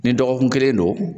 Ni dɔgɔkun kelen don